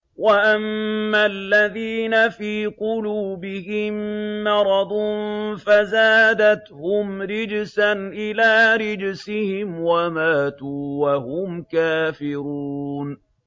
وَأَمَّا الَّذِينَ فِي قُلُوبِهِم مَّرَضٌ فَزَادَتْهُمْ رِجْسًا إِلَىٰ رِجْسِهِمْ وَمَاتُوا وَهُمْ كَافِرُونَ